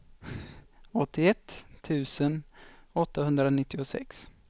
åttioett tusen åttahundranittiosex